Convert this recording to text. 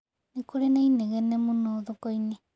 Nĩ kũrĩ na inegene mũno thoko-inĩ.